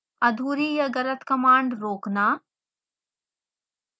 अधूरी या गलत कमांड रोकना